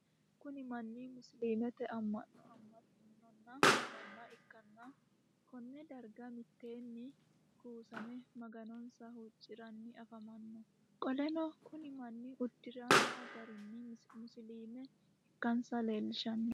Kunni manni musiliimete ama'no ama'nino manna ikanna konne darga miteenni kuussame maganonsa huuciranni afamano. Qoleno kunni manni udiransa gari musiliime ikansa leelishano.